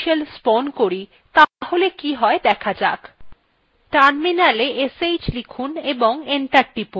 যদি আমরা একটি নতুন subshell spawn করি তাহলে কি হয় দেখা যাক terminala sh লিখুন এবং enter টিপুন